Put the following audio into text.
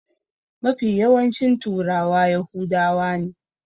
Mafi yawancin turawa yahudawa ne.